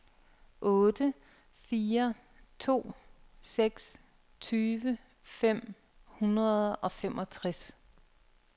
otte fire to seks tyve fem hundrede og femogtres